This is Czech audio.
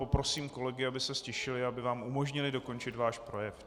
Poprosím kolegy, aby se ztišili, aby vám umožnili dokončit váš projev.